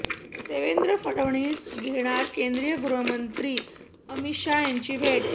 देवेंद्र फडणवीस घेणार केंद्रीय गृहमंत्री अमित शहा यांची भेट